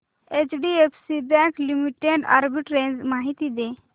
HDFC bank limited arbitrage माहिती दे